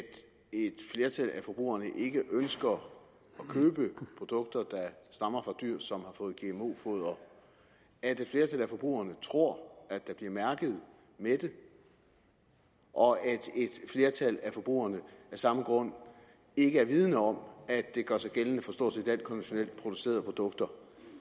et flertal af forbrugerne ikke ønsker at købe produkter der stammer fra dyr som har fået gmo foder at et flertal af forbrugerne tror at der bliver mærket med det og at et flertal af forbrugerne af samme grund ikke er vidende om at det gør sig gældende for stort set alle konventionelt producerede produkter